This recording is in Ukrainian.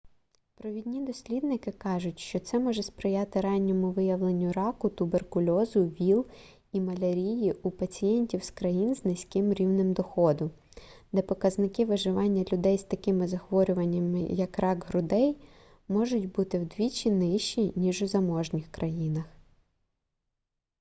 провідні дослідники кажуть що це може сприяти ранньому виявленню раку туберкульозу віл і малярії у пацієнтів з країн з низьким рівнем доходу де показники виживання людей з такими захворюваннями як рак грудей можуть бути вдвічі нижчі ніж у заможніших країнах